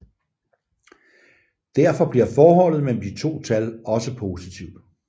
Derfor bliver forholdet mellem de to tal også positivt